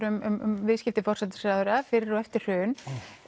um viðskipti forsætisráðherrans fyrir og eftir hrun